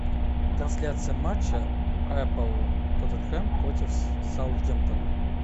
трансляция матча апл тоттенхэм против саутгемптона